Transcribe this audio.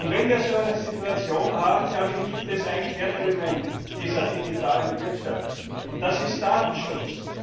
Wenn wir so eine Situation haben, glaube ich, gibt es ein Kernelement dieser digitalen Wirtschaft, und das ist Datenschutz.